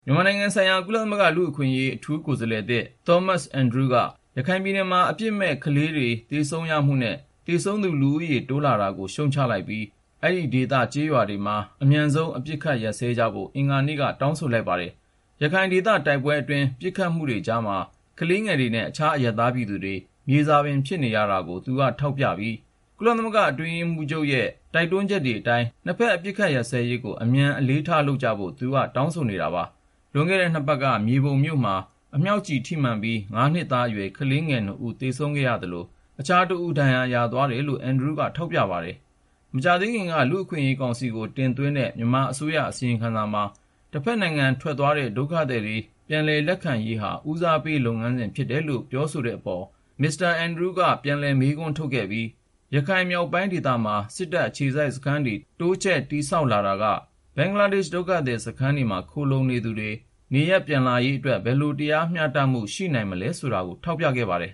မြန်မာနိုင်ငံဆိုင်ရာ ကုလသမဂ္ဂ လူ့အခွင့်အရေး အထူးကိုယ်စားလှယ်သစ် Thomas Andrews က ရခိုင်ပြည်နယ်မှာ အပြစ်မဲ့ ကလေးငယ်တွေ သေဆုံးရမှုနဲ့ သေဆုံးသူ လူဦးရေတိုးလာနေတာကို ရှုတ်ချလိုက်ပြီး အဲဒီဒေသ ကျေးရွာတွေမှာ အမြန်ဆုံး အပစ်အခတ်ရပ်စဲကြဖို့ အင်္ဂါနေ့က တောင်းဆိုလိုက်ပါတယ်။ ရခိုင်ဒေသတိုက်ပွဲအတွင်း ပစ်ခတ်မှုကြားမှာ ကလေးငယ်တွေနဲ့ အခြားအရပ်သားပြည်သူတွေ မြေစာပင်ဖြစ်နေရတာကို သူက ထောက်ပြခဲ့ပြီး ကုလအတွင်းရေးမှူးချုပ်ရဲ့ တိုက်တွန်းချက်အတိုင်း နှစ်ဖက် အပစ်ခတ်ရပ်စဲရေးကို အမြန်ဆုံး အလေးထားလုပ်ကြဖို့ သူက တောင်းဆိုနေတာပါ။ လွန်ခဲ့တဲ့ ၂ ပတ်က မြေပုံမြို့မှာ အမြောက်ကျည် ထိမှန်ပြီး ၅ နှစ်သားအရွယ် ကလေး ၂ ဦးသေဆုံးသွားသလို၊ အခြားတဦး ဒဏ်ရာရသ ွားတာကို Andrews က ထောက်ပြ ပြောဆိုပါတယ်။ မကြာသေးခင်က လူ့အခွင့်အရေးကောင်စီကို တင်သ ွင်းတဲ့ မြန်မာအစိုးရ အစီရင်ခံစာမှာ တဖက်နိုင်ငံထွက်သွားတဲ့ ဒုက္ခသည်တွေ ပြန်လည် လက်ခံရေးဟာ ဦးစားပေးလုပ်ငန်းစဉ်ဖြစ်တယ်လို့ ပြောဆိုတဲ့အပေါ် Mr. Andrews က ပြန်လည်မေးခွန်းထုတ်ခဲ့ပြီး ရခိုင်မြောက်ပိုင်းဒေသမှာ စစ်တပ်အခြေစိုက်စခန်းတွေ တိုးချဲ့တည်ဆောက်လာတာက ဘင်္ဂလားဒေ့ရှ် ဒုက္ခသည်စခန်းတွေမှာ ခိုလှုံနေသူတွေ ပြန်လာရေးအတွက် ဘယ်လိုတရားမျှတမှု ရှိနိုင်မလဲဆိုတာတွေကို ထောက်ပြခဲ့ပါတယ်